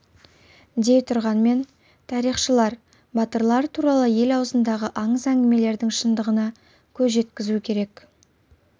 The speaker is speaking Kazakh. дей тұрғанмен тарихшылар батырлар туралы ел аузындағы аңыз-әңгімелердің шындығына көз жеткізу керек